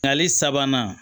Nali sabanan